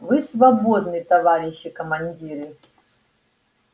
вы свободны товарищи командиры